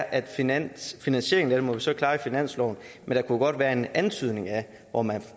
at finansieringen må vi så klare i finansloven der kunne godt være en antydning af hvor man